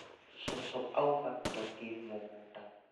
Cũcũ auga tũthiĩ mũgũnda